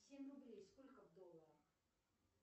семь рублей сколько в долларах